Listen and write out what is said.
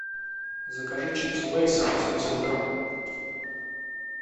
закажи чипсы лейс восемьдесят грамм